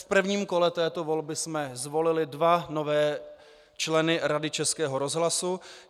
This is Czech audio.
V prvním kole této volby jsme zvolili dva nové členy Rady Českého rozhlasu.